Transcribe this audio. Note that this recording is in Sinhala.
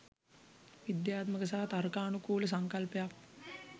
විද්‍යාත්මක සහ තර්කානුකූල සංකල්පයක්.